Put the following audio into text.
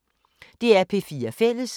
DR P4 Fælles